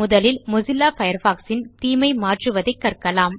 முதலில் Mozilla Firefox ன் theme ஐ மாற்றுவதைக் கற்கலாம்